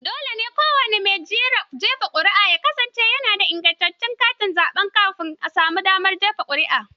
Dole ne kowani mai jefa ƙuri'a ya kasance yana da ingantaccen katin zaɓe kamin ya samu damar jefa ƙuri'a.